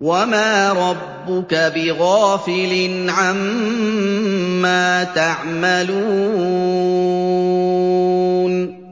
وَمَا رَبُّكَ بِغَافِلٍ عَمَّا تَعْمَلُونَ